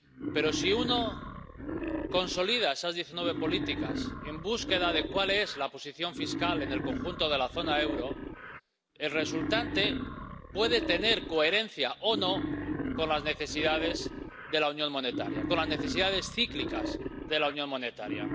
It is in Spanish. Pero si uno consolida esas diecinueve políticas, en búsqueda de cuál es la posición fiscal en el conjunto de la zona del euro, el resultado puede ser coherente o no con las necesidades de la Unión Monetaria, con las necesidades cíclicas de la Unión Monetaria.